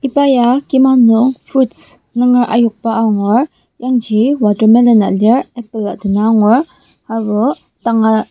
iba ya kima nung fruits nunger ayokba angur yangji watermelon lir apple ah dena angur aserbo danga.